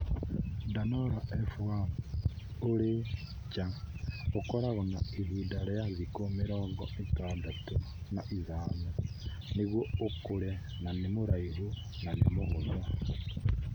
Danora F1; - ũrĩ nja, ũkoragwo na ihinda rĩa thikũ mĩrongo ĩtandatũ na ithano nĩguo ũkũre na nĩ mũraihu na nĩ mũhũthũ.